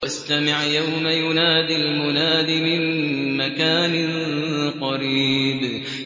وَاسْتَمِعْ يَوْمَ يُنَادِ الْمُنَادِ مِن مَّكَانٍ قَرِيبٍ